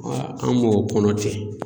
an b'o kɔnɔ ten.